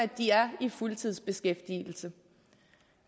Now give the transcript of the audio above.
de er i fuldtidsbeskæftigelse